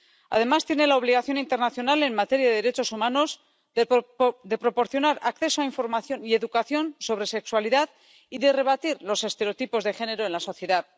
Además, tiene la obligación internacional en materia de derechos humanos de proporcionar acceso a información y educación sobre sexualidad y de rebatir los estereotipos de género en la sociedad.